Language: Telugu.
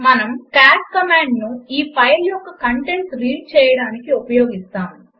మనము కాట్ కమాండ్ను ఈ ఫైలు యొక్క కంటెంట్స్ రీడ్ చేయడానికి ఉపయోగిస్తాము